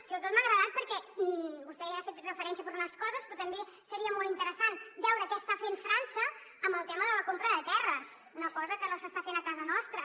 sobretot m’ha agradat perquè vostè hi ha fet referència per unes coses però també seria molt interessant veure què està fent frança amb el tema de la compra de terres una cosa que no s’està fent a casa nostra